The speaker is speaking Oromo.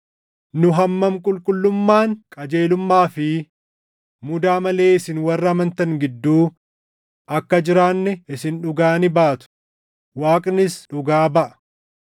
Nu hammam qulqullummaan, qajeelummaa fi mudaa malee isin warra amantan gidduu akka jiraanne isin dhugaa ni baatu; Waaqnis dhugaa baʼa.